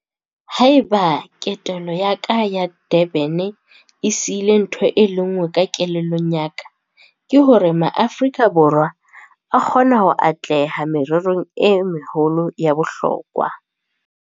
Ha eba ketelo ya ka ya Durban e sihile ntho e le nngwe ka kelellong ya ka, ke hore Maaforika Borwa a kgona ho atleha mererong e meholo ya bohlokwa.